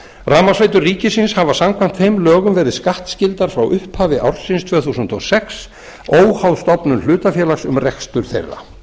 rafmagnsveitur ríkisins hafa samkvæmt þeim lögum verið skattskyldar frá upphafi ársins tvö þúsund og sex óháð stofnun hlutafélags um rekstur þeirra